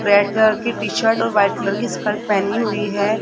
Red colour की T shirt और white colour की स्कर्ट पहनी हुई है।